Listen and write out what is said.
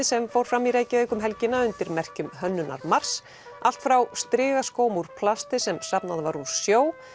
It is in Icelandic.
sem fór fram í Reykjavík um helgina undir merkjum Hönnunarmars allt frá strigaskóm úr plasti sem safnað var úr sjó